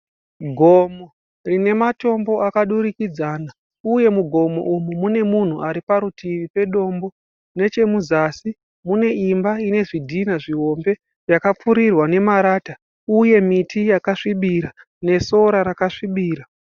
Gomo rinematombo akadurikidzana uye mugomo umu mune munhu ariparutivi pedombo. Nechemuzasi muneimba inezvidhina zvihombe yakapfurirwa nemarata uye miti yakasvibira nesora rakasvibira.